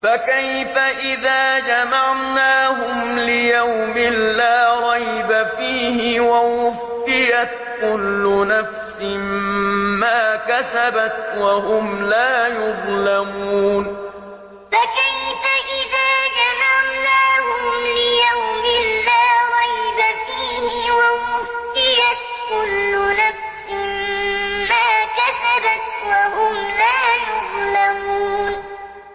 فَكَيْفَ إِذَا جَمَعْنَاهُمْ لِيَوْمٍ لَّا رَيْبَ فِيهِ وَوُفِّيَتْ كُلُّ نَفْسٍ مَّا كَسَبَتْ وَهُمْ لَا يُظْلَمُونَ فَكَيْفَ إِذَا جَمَعْنَاهُمْ لِيَوْمٍ لَّا رَيْبَ فِيهِ وَوُفِّيَتْ كُلُّ نَفْسٍ مَّا كَسَبَتْ وَهُمْ لَا يُظْلَمُونَ